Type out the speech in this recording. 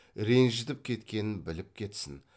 ренжітіп кеткенін біліп кетсін